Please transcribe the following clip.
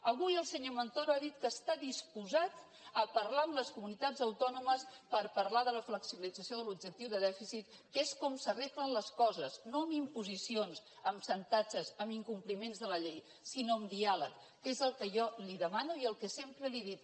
avui el senyor montoro ha dit que està disposat a parlar amb les comunitats autònomes per parlar de la flexibilització de l’objectiu de dèficit que és com s’arreglen les coses no amb imposicions amb xantatges amb incompliments de la llei sinó amb diàleg que és el que jo li demano i el que sempre li he dit